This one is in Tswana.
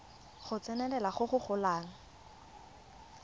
go tsenelela go go golang